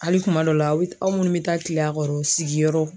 Hali kuma dɔ la, aw minnu bɛ taa kile a kɔrɔ sigiyɔrɔ.